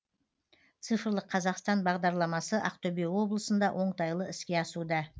цифрлық қазақстан бағдарламасы ақтөбе облысында оңтайлы іске асуда